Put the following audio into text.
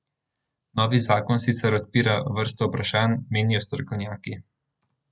Novi zakon sicer odpira vrsto vprašanj, menijo strokovnjaki.